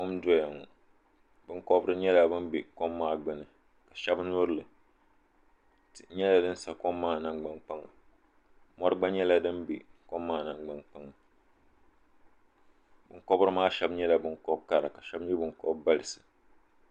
Kom n doya ŋɔ binkɔbiri nyɛla bini bɛ kom maa gbuni shɛba yuri li tihi nyɛla dini sa kom maa nangbani kpaŋa mori gba nyɛla dini bɛ kom maa nangbani kpaŋa binkɔbiri maa shɛba nyɛla binkɔbi kara ka shɛba nyɛ binkobi baligu.